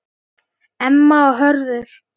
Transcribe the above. Emma og Hörður.